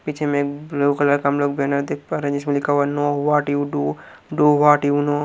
पीछे में blue colour का हम लोग बैनर देख पा रहे हैं जिसमें लिखा हुआ है know what you do do what you know --